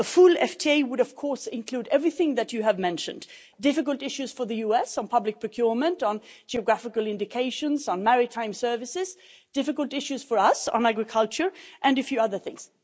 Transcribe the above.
A full FTA would, of course, include everything that you have mentioned difficult issues for the US on public procurement, on geographical indications, on maritime services difficult issues for us on agriculture, and a few other things.